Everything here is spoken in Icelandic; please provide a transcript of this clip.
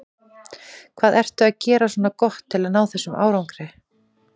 Hvað ertu að gera svona gott til að ná þessum árangri?